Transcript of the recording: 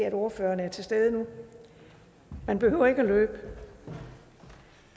at ordføreren er til stede nu man behøver ikke at løbe det